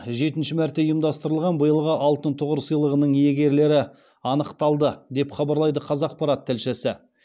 жетінші мәрте ұйымдастырылған биылғы алтын тұғыр сыйлығының иегерлері анықталды деп хабарлайды қазақпарат тілшісі